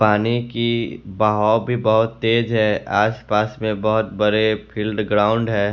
पानी की बहाव भी बहोत तेज है आस पास में बहोत बड़े फील्ड ग्राउंड है।